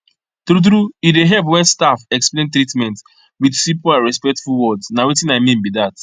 true true e dey help when staff explain treatment with simple and respectful words na watin i mean be that